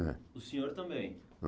É O senhor também.